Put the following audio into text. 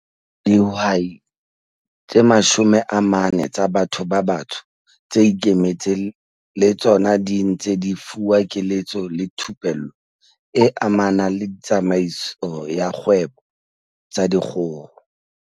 Dihwai tse 40 tsa batho ba batsho tse ikemetseng le tsona di ntse di fuwa keletso le thupello e amanang le tsamaiso ya dikgwebo tsa dikgoho.